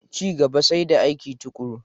Ci gaba sai da aiki tuƙuru.